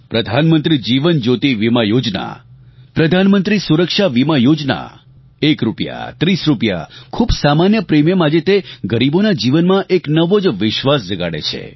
પ્રધાનમંત્રી જીવન જ્યોતિ વીમા યોજના પ્રધાનમંત્રી સુરક્ષા વીમા યોજના એક રૂપિયા ત્રીસ રૂપિયા ખૂબ સામાન્ય પ્રિમિયમ આજે તે ગરીબોના જીવનમાં એક નવો જ વિશ્વાસ જગાડે છે